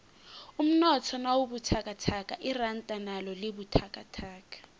umnotho nawubuthakathaka iranda nalo libabuthakathaka